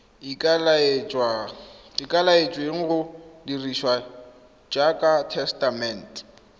ikaeletsweng go dirisiwa jaaka tesetamente